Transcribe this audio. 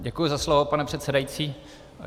Děkuji za slovo, pane předsedající.